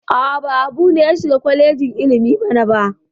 A'a, ba Habu ne ya shiga kwalejin ilimi bana ba.